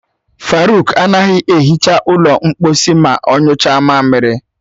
Faruk anaghị ehicha ụlọ mkposi ma ọ nyụcha mamiri.